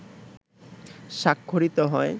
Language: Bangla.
স্বাক্ষরিত হয়